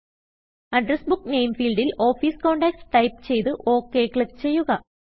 address book name ഫീൽഡിൽ office contacts type ചെയ്ത് Okക്ലിക്ക് ചെയ്യുക